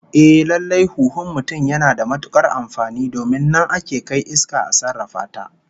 Ehh, lallai huhun mutum yana da matukar amfani domin nan ake kai iska a sarrafa ta